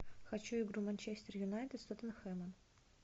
хочу игру манчестер юнайтед с тоттенхэмом